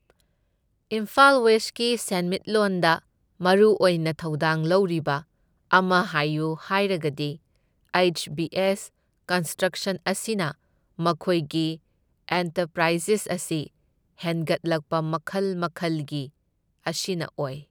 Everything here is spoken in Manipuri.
ꯏꯝꯐꯥꯜ ꯋꯦꯁꯀꯤ ꯁꯦꯟꯃꯤꯠꯂꯣꯟꯗ ꯃꯔꯨꯑꯣꯏꯅ ꯊꯧꯗꯥꯡ ꯂꯧꯔꯤꯕ ꯑꯃ ꯍꯥꯏꯎ ꯍꯥꯏꯔꯒꯗꯤ ꯍꯩꯆ ꯕꯤ ꯑꯦꯁ ꯀꯟꯁꯇ꯭ꯔꯛꯁꯟ ꯑꯁꯤꯅ ꯃꯈꯣꯏꯒꯤ ꯑꯦꯟꯇꯄ꯭ꯔꯥꯏꯖꯦꯁ ꯑꯁꯤ ꯍꯦꯡꯒꯠꯂꯛꯄ ꯃꯈꯜ ꯃꯈꯜꯒꯤ ꯑꯁꯤꯅ ꯑꯣꯢ